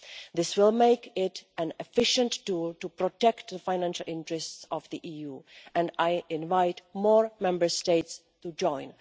This will make it an efficient tool to protect the financial interests of the EU, and I invite more Member States to join.